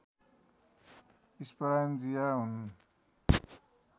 sporangia हुन्